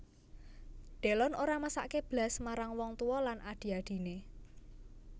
Delon ora mesakke blas marang wong tuwa lan adhi adhine